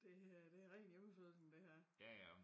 Det er det en hjemmefødelsen det her